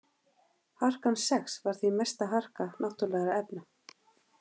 Harkan sex var því mesta harka náttúrulegra efna.